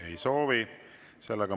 Ei soovi.